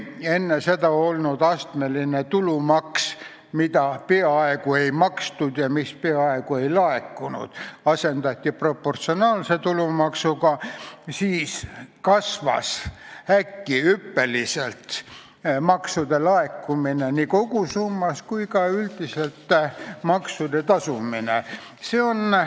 Astmeline tulumaks, mida peaaegu ei makstud ja mis peaaegu ei laekunud, asendati proportsionaalse tulumaksuga ja siis kasvas äkki hüppeliselt nii maksude laekumise kogusumma kui ka maksude tasumine üldiselt paranes.